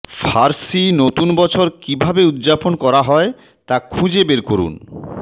ফার্সি নতুন বছর কিভাবে উদযাপন করা হয় তা খুঁজে বের করুন